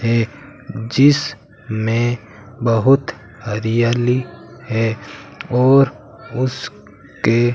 है जिस में बहुत हरियाली है और उस के --